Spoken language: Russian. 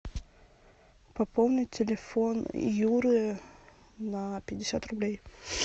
пополнить телефон юры на пятьдесят рублей